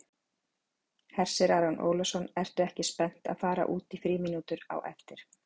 Hersir Aron Ólafsson: Ertu ekki spennt að fara út í frímínútur á eftir?